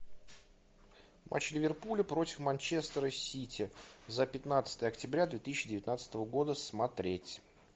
матч ливерпуля против манчестера сити за пятнадцатое октября две тысячи девятнадцатого года смотреть